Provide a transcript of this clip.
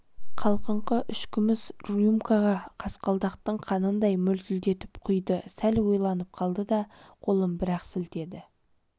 қалқыңқы үш күміс рюмкаға қасқалдақтың қанындай мөлтілдетіп құйды сәл ойланып қалды да қолын бір-ақ сілтеді